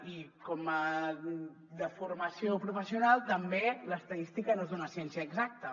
i com a deformació professional també l’estadística no és una ciència exacta